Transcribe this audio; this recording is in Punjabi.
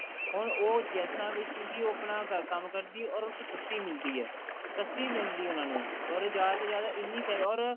ਹੁਣ ਉਹ ਗੈਸਾਂ ਵਿੱਚ ਹੀ ਉਹ ਆਪਣਾ ਕੰਮ ਕਰਦੀ or ਉਸ ਤੋਂ ਸਸਤੀ ਮਿਲਦੀ ਐ ਸਸਤੀ ਮਿਲਦੀ ਐ ਉਹਨਾਂ ਨੂੰ or ਜਿਆਦਾ ਤੋਂ ਜਿਆਦਾ ਇੰਨੀ or